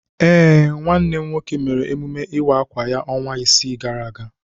Ee, nwanne m nwoke mere ememme ịwa akwa ya ọnwa isii gara aga.